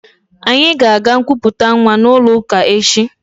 Anyị ga-aga nkuputa nwa n'ụlọụka echi